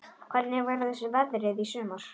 Hvernig verður veðrið í sumar?